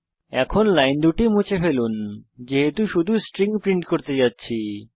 এখন এই দুটি লাইন মুছে ফেলুন যেহেতু আমরা শুধু স্ট্রিং প্রিন্ট করতে যাচ্ছি